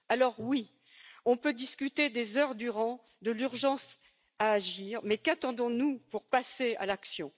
Alors oui, on peut discuter des heures durant de l'urgence d'agir, mais qu'attendons nous pour passer à l'action?